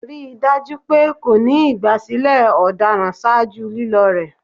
Rii daju pe ko ni igbasilẹ ọdaràn ṣaaju lilo rẹ